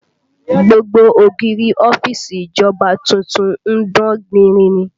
Gbogbo ògiri ọ́fíìsì ìjọba tuntun ń dán gbinrin ni